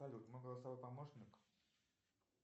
салют мой голосовой помощник